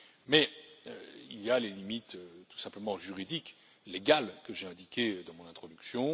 Mais il y a les limites tout simplement juridiques et légales que j'ai indiquées dans mon introduction.